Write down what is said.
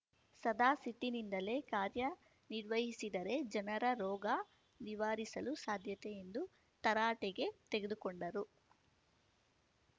ಸದಾ ಸಿಟ್ಟಿನಿಂದಲೇ ಕಾರ್ಯನಿರ್ವಹಿಸಿದರೆ ಜನರ ರೋಗ ನಿವಾರಿಸಲು ಸಾಧ್ಯತೆ ಎಂದು ತರಾಟೆಗೆ ತೆಗೆದುಕೊಂಡರು